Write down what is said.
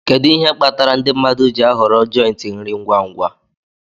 Kedu ihe kpatara ndị mmadụ ji ahọrọ jòintí nri ngwa ngwa